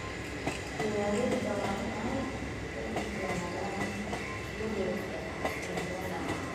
Beeralayda waa in ay ka digtoonaadaan isbedelka cimilada.